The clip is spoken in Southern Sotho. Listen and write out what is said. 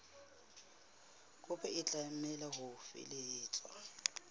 kopo e tlameha ho felehetswa